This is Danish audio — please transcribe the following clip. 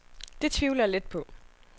Det tvivler jeg lidt på.